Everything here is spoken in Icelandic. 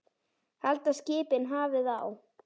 Halda skipin hafið á.